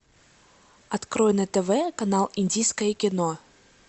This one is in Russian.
открой на тв канал индийское кино